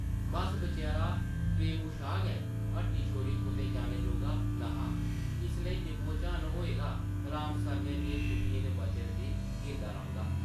बस्स बचैरा प्रेमू शाह् गै हट्टी छोड़ियै कुतै जाने जोगा न’हा, इस लेई निम्मो-झान होए दा राम सरनै दियें छुट्टियें दे बचे दे दिन गिनदा रौंह्दा ।